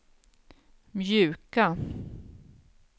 mjuka